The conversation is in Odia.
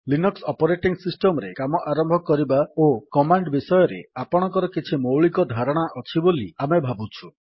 ଲିନକ୍ସ୍ ଅପରେଟିଙ୍ଗ୍ ସିଷ୍ଟମ୍ ରେ କାମ ଆରମ୍ଭ କରିବା ଓ କମାଣ୍ଡ୍ ବିଷୟରେ ଆପଣଙ୍କର କିଛି ମୌଳିକ ଧାରଣା ଅଛି ବୋଲି ଆମେ ଭାବୁଛୁ